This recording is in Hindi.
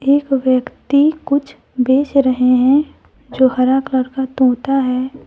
एक व्यक्ति कुछ बेच रहे हैं जो हरा कलर का तोता है।